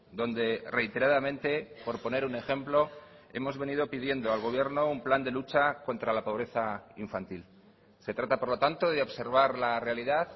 donde reiteradamente por poner un ejemplo hemos venido pidiendo al gobierno un plan de lucha contra la pobreza infantil se trata por lo tanto de observar la realidad